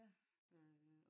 ja